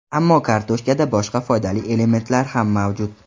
Ammo kartoshkada boshqa foydali elementlar ham mavjud.